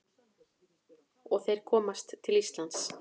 Og þeir komast til Íslands.